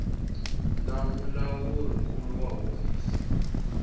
na mulawuri nkulu wa hofisi